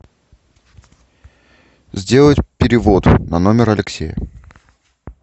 сделать перевод на номер алексея